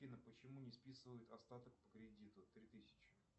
афина почему не списывают остаток по кредиту три тысячи